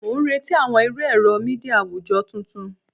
Mo n reti awọn iru ẹrọ media awujọ tuntun